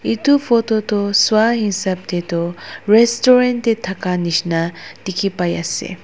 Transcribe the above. etu photo toh swa hisap te toh restaurant te thaka nishina dikhi pai ase.